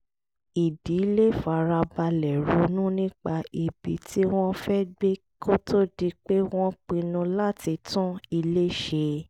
ìdílé fara balẹ̀ ronú nípa ibi tí wọ́n fẹ́ gbé kó tó di pé wọ́n pinnu láti tún ilé ṣe